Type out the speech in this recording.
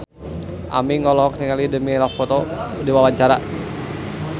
Aming olohok ningali Demi Lovato keur diwawancara